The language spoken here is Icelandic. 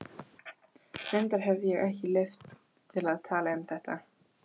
Reyndar hefi ég ekki leyfi til að tala um þetta.